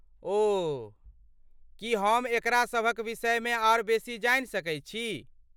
ओह, की हम एकरा सभक विषयमे आर बेसी जानि सकैत छी?